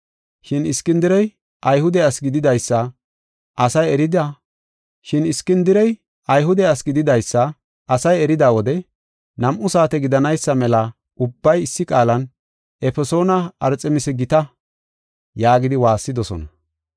Shin Iskindirey Ayhude asi gididaysa asay erida wode nam7u saate gidanaysa mela ubbay issi qaalan, “Efesoona Arxemisa gita” yaagidi waassidosona.